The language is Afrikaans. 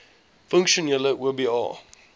funksionele oba